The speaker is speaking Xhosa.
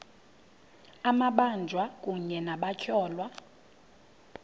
amabanjwa kunye nabatyholwa